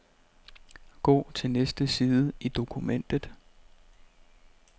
Gå til næste side i dokumentet.